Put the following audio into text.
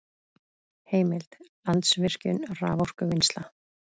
Heimild: Landsvirkjun- raforkuvinnsla